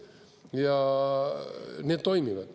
Ja need toimivad.